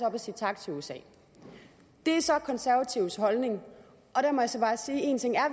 og sige tak til usa det er så konservatives holdning og der må jeg så bare sige at én ting er